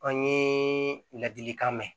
An ye ladilikan mɛn